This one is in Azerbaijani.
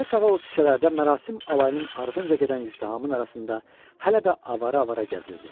Günorta çağı o küçələrdə mərasim alayının ardınca gedən izdihamın arasında hələ də avara-avara gəzirdi.